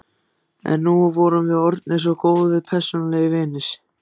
En nú vorum við orðnir svo góðir persónulegir vinir.